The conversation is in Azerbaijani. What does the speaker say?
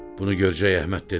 Bunu Görcək Əhməd dedi: